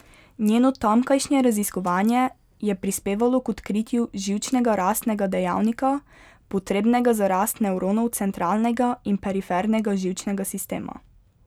Njeno tamkajšnje raziskovanje je prispevalo k odkritju živčnega rastnega dejavnika, potrebnega za rast nevronov centralnega in perifernega živčnega sistema.